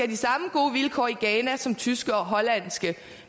de samme gode vilkår i ghana som tyske og hollandske